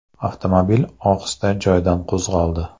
Avtomobil ohista joyidan qo‘zg‘aldi.